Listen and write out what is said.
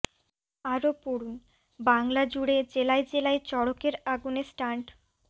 আরও পড়ুন বাংলা জুড়ে জেলায় জেলায় চড়কের আগুনে স্টান্ট